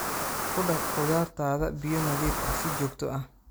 Ku dhaq khudaartaada biyo nadiif ah si joogto ah.